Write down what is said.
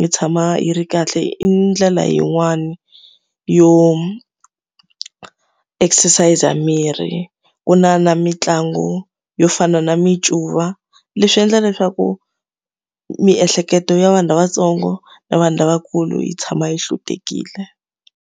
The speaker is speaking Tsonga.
yi tshama yi ri kahle. I ndlela yin'wani yo exercise-a mirhi. Ku na na mitlangu yo fana na mincuva, leswi endla leswaku miehleketo ya vanhu lavatsongo na vanhu lavakulu yi tshama yi hlutekile.